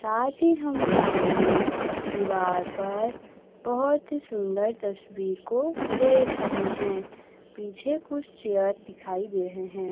साथ ही हम सामने दिवाल पर बहोत ही सुंदर तस्वीर को देख रहे हैं पीछे कुछ चेयर दिखाई दे रहे हैं।